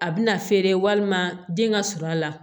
A bɛna feere walima den ka surun a la